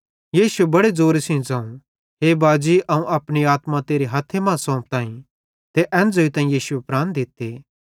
यीशुए बड़े ज़ोरे सेइं ज़ोवं हे बाजी अवं अपनी आत्मा तेरे हथ्थे मां सोंफताईं ते एन ज़ोइतां यीशुए प्राण दित्ते